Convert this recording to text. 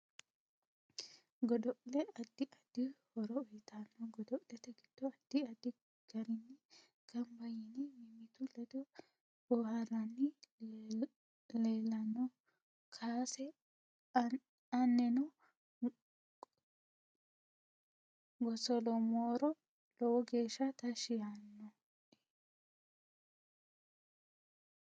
Godo'le addi addi horo uyiitanno godol'ete giddo addi addi garinni ganbba yine mimitu ledo booharanni leelanno kaase aninno gosoloomoro lowo geesha tashi yaanoe